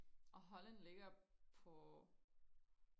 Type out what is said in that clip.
og Holland ligger på